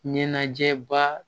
Ɲɛnajɛba